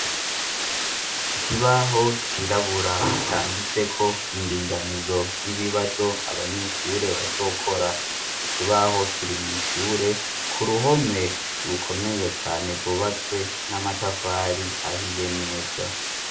Ikibaho cirabura canditseko indinganizo y'ibibazo abanyeshure bazokora ikibaho kirimwishure ku ruhome rukomeye cane gubatswe n'amatafari ahiye neza.